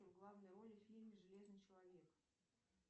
в главной роли в фильме железный человек